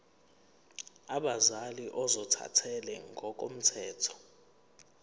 abazali ozothathele ngokomthetho